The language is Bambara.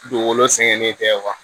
Dugukolo sɛgɛnnen tɛ wa